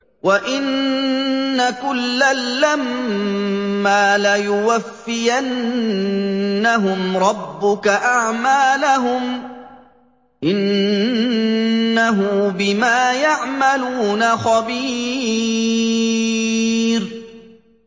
وَإِنَّ كُلًّا لَّمَّا لَيُوَفِّيَنَّهُمْ رَبُّكَ أَعْمَالَهُمْ ۚ إِنَّهُ بِمَا يَعْمَلُونَ خَبِيرٌ